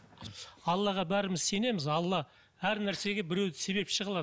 аллаға бәріміз сенеміз алла әр нәрсеге біреуді себепші қылады